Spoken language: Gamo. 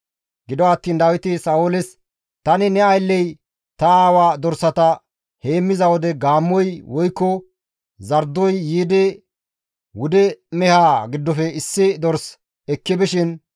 Gido attiin Dawiti Sa7ooles, «Tani ne aylley ta aawa dorsata heemmiza wode gaammoy woykko zardoy yiidi wude mehaa giddofe issi dors ekki bishin,